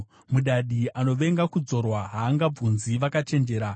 Mudadi anovenga kudzorwa; haangabvunzi vakachenjera.